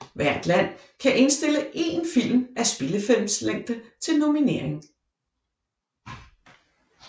Hvert land kan indstille én film af spillefilmslængde til nominering